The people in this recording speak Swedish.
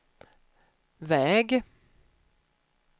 väg